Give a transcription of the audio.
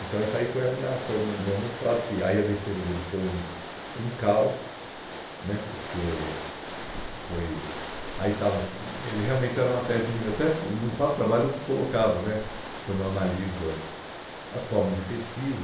Então esse aí foi a minha foi o meu meu mestrado, que aí a defesa dele foi um um caos né, porque eh foi aí estava assim ele realmente era uma tese mínima, até que no próprio trabalho eu colocava né, quando eu analiso as as formas de pesquisa,